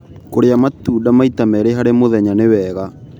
Kũrĩa matunda maĩta merĩ harĩ mũthenya nĩ wega